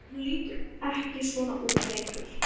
En hún lítur ekki svona út lengur.